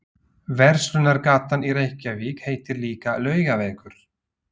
Verslunargatan í Reykjavík heitir líka Laugavegur.